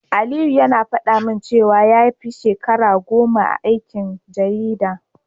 Aliyu yana faɗa min cewa ya fi shekara goma a aikin jarida.